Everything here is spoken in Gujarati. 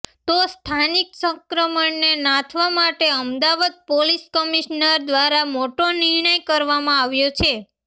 તો સ્થાનિક સંક્રમણને નાથવા માટે અમદાવાદ પોલીસ કમિશનર દ્વારા મોટો નિર્ણય કરવામાં આવ્યો છે